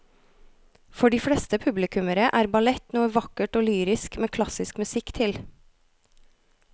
For de fleste publikummere er ballett noe vakkert og lyrisk med klassisk musikk til.